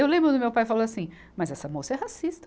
Eu lembro quando o meu pai falou assim, mas essa moça é racista.